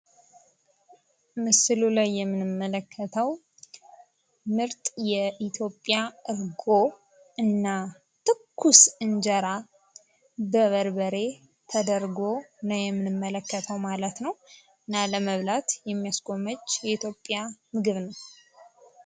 በምስሉ ላይ የምንመለከተው ምርጥ የኢትዮጵያ እርጎ እና ትኩስ እንጀራ በበርበሬ ተደርጎ ሲሆን ይኸውም ለመብላት የሚያስጎመጅ የኢትዮጵያ ምግብ ነው።